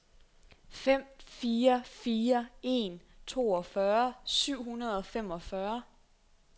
fem fire fire en toogfyrre syv hundrede og femogfyrre